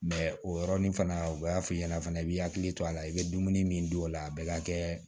o yɔrɔnin fana u b'a f'i ɲɛna fana i b'i hakili to a la i bɛ dumuni min dun o la a bɛɛ ka kɛ